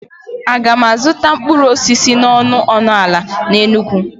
A ga m azụta mkpụrụ osisi n'ọnụ ọnụ ala n'Enugwu?